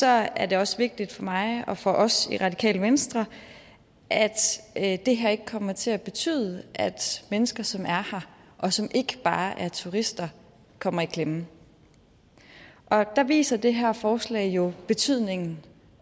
er det også vigtigt for mig og for os i radikale venstre at det her ikke kommer til at betyde at mennesker som er her og som ikke bare er turister kommer i klemme og der viser det her forslag jo betydningen